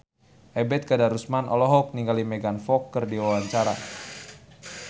Ebet Kadarusman olohok ningali Megan Fox keur diwawancara